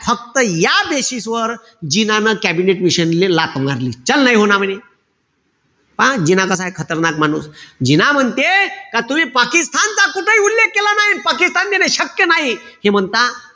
फक्त या basis वर जिनाने कॅबिनेट मिशनले लाथ मारली. म्हणे. मंग जिनाच खतरनाक माणूस. जिना म्हणते का तुम्ही पाकिस्तानचा कुठेही उल्लेख केला नाई. पाकिस्तान देणे शक्य नाई. ते म्हणता,